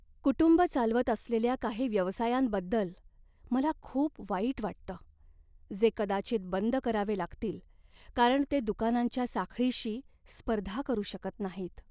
कुटुंबं चालवत असलेल्या काही व्यवसायांबद्दल मला खूप वाईट वाटतं, जे कदाचित बंद करावे लागतील कारण ते दुकानांच्या साखळीशी स्पर्धा करू शकत नाहीत.